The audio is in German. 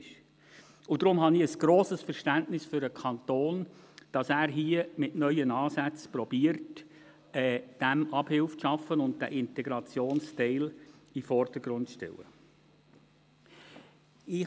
Deshalb habe ich grosses Verständnis dafür, dass der Kanton hier mit neuen Ansätzen Abhilfe zu schaffen und den Integrationsteil in den Vordergrund zu stellen versucht.